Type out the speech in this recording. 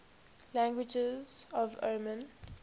languages of oman